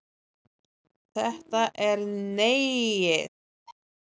Þetta er Neiið.